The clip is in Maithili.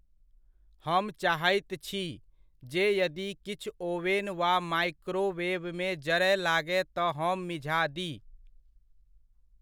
हम चाहैत छी, जे यदि किछु ओवेन वा माइक्रोवेवमे जरय लागय तऽ हम मिझा दी।